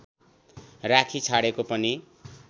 राखिछाडेको पनि